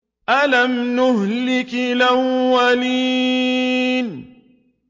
أَلَمْ نُهْلِكِ الْأَوَّلِينَ